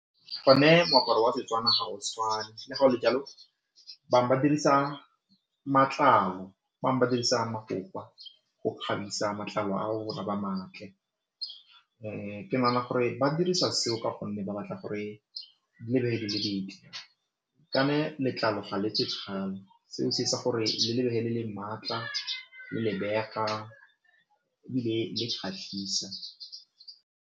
Go ne moaparo wa Setswana ga o tshwane le go ne jalo bangwe ba dirisa matlalo, bangwe ba dirisa mofofa go kgabisa matlalo ao matle ke nagana gore ba dirisa seo ka gonne ba batla gore letlalo ga seo se etsa gore le maatla le lebega ebile le kgatlhisa.